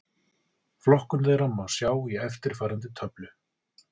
Flokkun þeirra má sjá í eftirfarandi töflu: